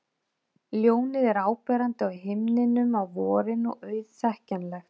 Ljónið er áberandi á himninum á vorin og auðþekkjanlegt.